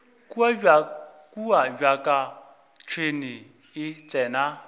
kua bjaka tšhwene e tsena